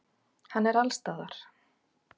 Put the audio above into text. Hann er allsstaðar.